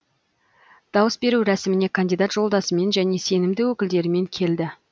дауыс беру рәсіміне кандидат жолдасымен және сенімді өкілдерімен келді